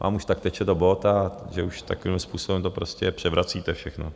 Vám už tak teče do bot, že už takovýmhle způsobem to prostě převracíte všechno.